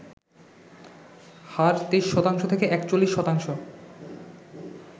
হার ২৩ শতাংশ থেকে ৪১ শতাংশ